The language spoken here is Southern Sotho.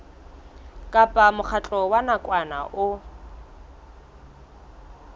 kapa mokgatlo wa nakwana o